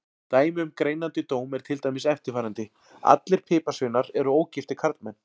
Dæmi um greinandi dóm er til dæmis eftirfarandi: Allir piparsveinar eru ógiftir karlmenn.